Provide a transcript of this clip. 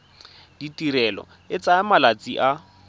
tirelo e tsaya malatsi a